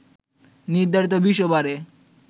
নির্ধারিত ২০ ওভারে